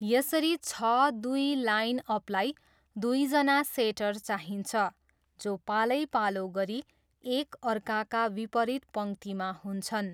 यसरी छ दुई लाइनअपलाई दुईजना सेटर चाहिन्छ, जो पालैपालो गरी एक अर्काका विपरीत पङ्क्तिमा हुन्छन्।